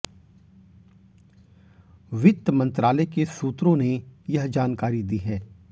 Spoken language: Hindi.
वित्त मंत्रालय के सूत्रों ने यह जानकारी दी है